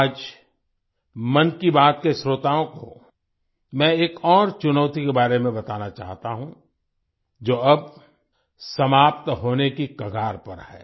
आज मन की बात के श्रोताओं को मैं एक और चुनौती के बारे में बताना चाहता हूं जो अब समाप्त होने की कगार पर है